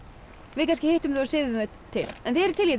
við kannski hittum þau og siðum þau til þið eruð til í